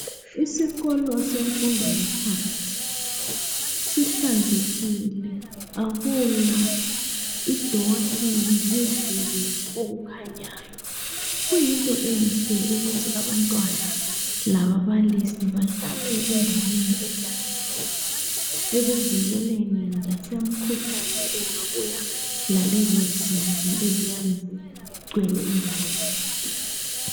Isikolo semfundo yaphansi sihlanzekile akula idoti lezibi okukhanyayo, kuyinto enhle ukuthi abantwana lababalisi bahlale endaweni ehlanzekileyo ekuvikeleni lasemkhuhlani engabuya lalezo zibi eziyabe zigcwele indawo yonke.